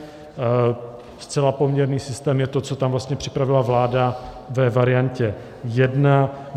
Zcela poměrný systém je to, co tam vlastně připravila vláda ve variantě jedna.